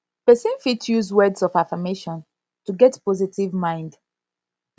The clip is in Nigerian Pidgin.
person fit use words of affirmation to get positive mind